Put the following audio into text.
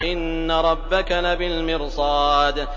إِنَّ رَبَّكَ لَبِالْمِرْصَادِ